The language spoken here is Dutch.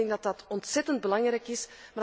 Ik denk dat dat ontzettend belangrijk is.